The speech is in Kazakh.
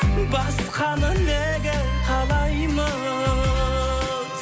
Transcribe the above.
басқаны неге қалаймыз